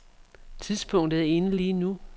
Tidspunktet er inde lige nu.